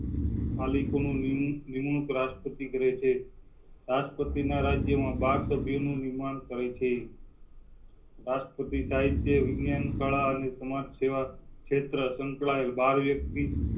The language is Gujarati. પાલી કોની નિ~નિમણૂક રાષ્ટ્રપતિ કરેં છે રાષ્ટ્રપતિ ના રાજ્ય માં બાર સભ્યો નું નિર્માણ કરેં થે. બસ રાષ્ટ્રપતિ સાહિત્ય, વિજ્ઞાન કલા અને સમાજસેવા ક્ષેત્રે સંકળાયેલા